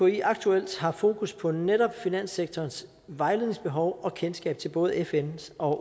mki aktuelt har fokus på netop finanssektorens vejledningsbehov og kendskab til både fns og